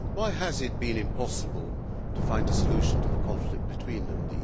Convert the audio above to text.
Why has it been impossible to find a solution to the conflict between them?